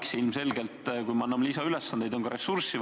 See on ilmselge, et kui anname lisaülesandeid, siis on vaja ka lisaressurssi.